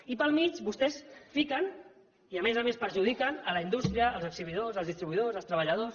i pel mig vostès fiquen i a més a més perjudiquen la indústria els exhibidors els distribuïdors els treballadors